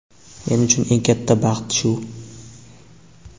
men uchun eng katta baxt shu.